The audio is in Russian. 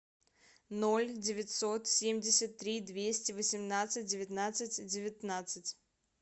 ноль девятьсот семьдесят три двести восемнадцать девятнадцать девятнадцать